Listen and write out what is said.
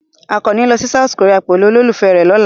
Àkànní ní lọ sí South Korea pẹ̀lú olólùfẹ́ rẹ̀ lọ́la.